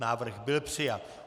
Návrh byl přijat.